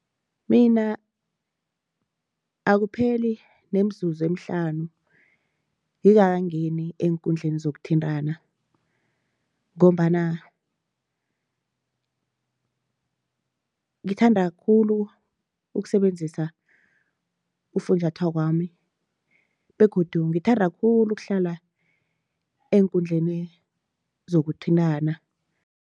Mina akupheli nemzuzu emihlanu ngingakangeni eenkundleni zokuthintana ngombana ngithanda khulu ukusebenzisa ufunjathwakwami begodu ngithanda khulu ukuhlala eenkundleni zokuthintana.